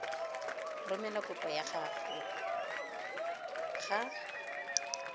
romela kopo ya gago ga